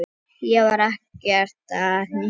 Ég var ekkert að hnýsast.